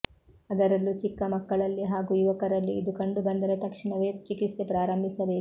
ಅದರಲ್ಲೂ ಚಿಕ್ಕ ಮಕ್ಕಳಲ್ಲಿ ಹಾಗೂ ಯುವಕರಲ್ಲಿ ಇದು ಕಂಡುಬಂದರೆ ತಕ್ಷಣವೇ ಚಿಕಿತ್ಸೆ ಪ್ರಾರಂಭಿಸಬೇಕು